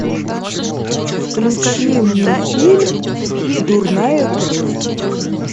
включи мне фильм дурная кровь